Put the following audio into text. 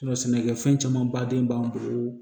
Sɛnɛkɛfɛn caman baden b'an bolo